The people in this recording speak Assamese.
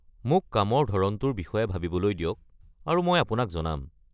মোক কামৰ ধৰণটোৰ বিষয়ে ভাবিবলৈ দিয়ক আৰু মই আপোনাক জনাম।